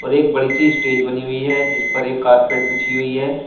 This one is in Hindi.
एक बड़ी सी स्टेज बनी हुई है जीस पर एक कारपेट बिछी हुई है।